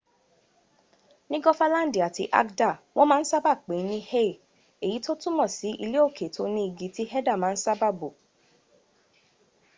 ni gofalandi ati agda won ma n pe e ni hei eyi to tumo si ileoke ti o ni igi ti heda ma n saba bo